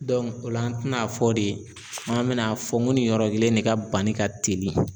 Dɔnku o la n ti n'a fɔ de k'an me n'a fɔ ko nin yɔrɔ kelen ne ka bani ka teli